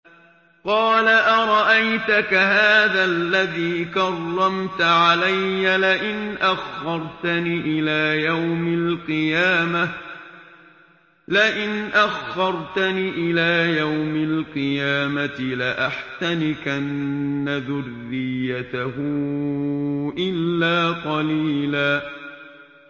قَالَ أَرَأَيْتَكَ هَٰذَا الَّذِي كَرَّمْتَ عَلَيَّ لَئِنْ أَخَّرْتَنِ إِلَىٰ يَوْمِ الْقِيَامَةِ لَأَحْتَنِكَنَّ ذُرِّيَّتَهُ إِلَّا قَلِيلًا